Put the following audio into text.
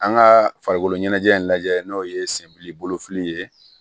An ka farikoloɲɛnajɛ in lajɛ n'o ye senbili fili ye